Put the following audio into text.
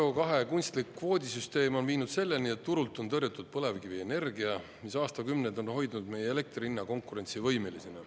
CO2 kunstlik kvoodisüsteem on viinud selleni, et turult on tõrjutud põlevkivienergia, mis aastakümneid on hoidnud meie elektri hinna konkurentsivõimelisena.